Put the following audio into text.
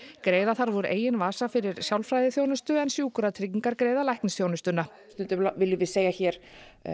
greiða þarf úr eigin vasa fyrir sálfræðiþjónustu en Sjúkratryggingar greiða læknisþjónustuna stundum viljum við segja hér